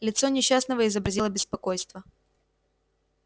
лицо несчастного изобразило беспокойство